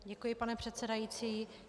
Děkuji, pane předsedající.